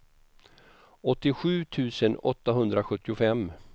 åttiosju tusen åttahundrasjuttiofem